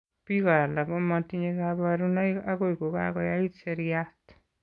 Biko alak ko matinye kabarunoik akoi ko kakoyait seriat.